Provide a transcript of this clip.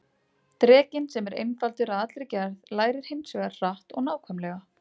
Drekinn, sem er einfaldur að allri gerð, lærir hins vegar hratt og nákvæmlega.